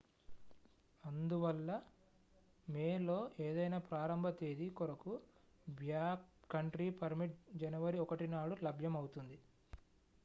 అందువల్ల మే లో ఏదైనా ప్రారంభ తేదీ కొరకు బ్యాక్ కంట్రీ పర్మిట్ జనవరి 1నాడు లభ్యం అవుతుంది